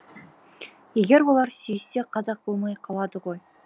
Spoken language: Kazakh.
егер олар сүйіссе қазақ болмай қалады ғой